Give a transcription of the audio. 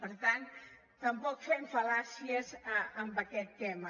per tant tampoc fem fal·làcies en aquest tema